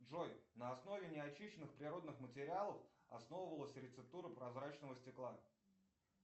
джой на основе неочищенных природных материалов основывалась рецептура прозрачного стекла